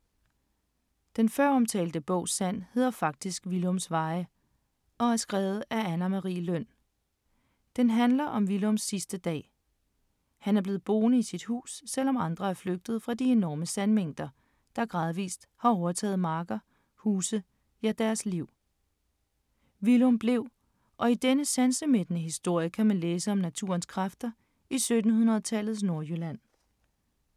Den føromtalte bog Sand hedder faktisk Willums veje, og er skrevet af Anne Marie Løn. Den handler om Willums sidste dag. Han er blevet boende i sit hus, selv om andre er flygtet fra de enorme sandmængder, der gradvis har overtaget marker, huse, ja deres liv. Willum blev, og i denne sansemættede historie kan man læse om naturens kræfter i 1700-tallets Nordjylland.